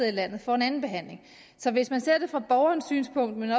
i landet får en anden behandling så hvis man ser det fra borgerens synspunkt men